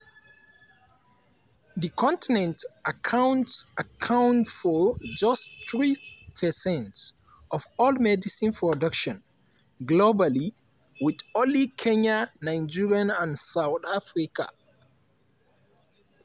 di continent account account for just three percent of all medicine production globally wit only kenya nigeria and south africa